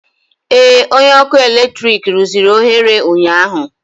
Ee, onye ọkụ eletrik rụziri oghere ụnyaahụ